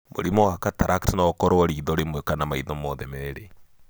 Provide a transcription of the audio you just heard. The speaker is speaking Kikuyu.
Mũrimũ wa cataract no ũkoro kana rimwenĩ kana maitho mothe merĩ.